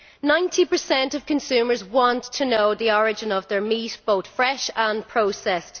Ninety percent of consumers want to know the origin of their meat, both fresh and processed.